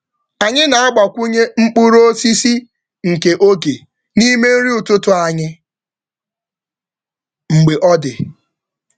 Anyị na-agbakwụnye mkpụrụ osisi nke oge n’ime nri ụtụtụ anyị mgbe ọ dị.